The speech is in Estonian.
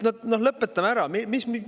No lõpetame ära!